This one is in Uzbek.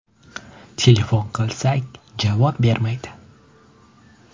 Telefon qilsak, javob bermaydi.